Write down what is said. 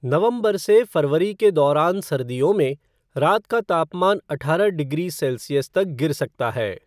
नवंबर से फरवरी के दौरान सर्दियों में, रात का तापमान अठारह डिग्री सेल्सियस तक गिर सकता है।